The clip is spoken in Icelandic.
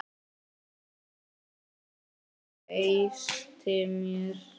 Fólk sem treysti mér.